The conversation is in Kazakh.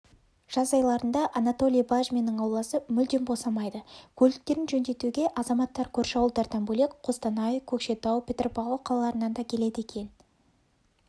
жаз айларында анатолий бажминнің ауласы мүлдем босамайды көліктерін жөндетуге азаматтар көрші ауылдардан бөлек қостанай көкшетау петропавл қалаларынан да келеді екен